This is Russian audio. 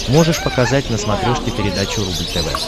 можешь показать на смотрешке передачу рубль тв